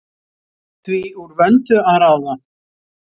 Það var því úr vöndu að ráða.